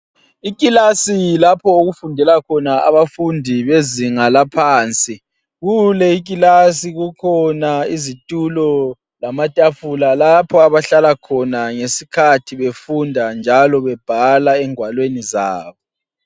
Iklasi lapho okufundela khona abafundi bezinga laphansi, kule iklasi kukhona izitulo lamatafula lapho abahlala khona ngesikhathi befunda njalo bebhala engwalweni zabo.